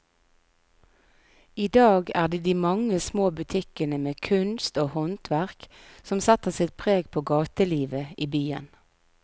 I dag er det de mange små butikkene med kunst og håndverk som setter sitt preg på gatelivet i byen.